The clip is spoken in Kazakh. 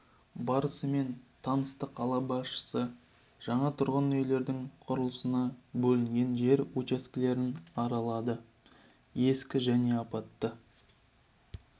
барысымен танысты қала басшысы жаңа тұрғын үйлердің құрылысына бөлінген жер учаскелерін аралады ескі және апатты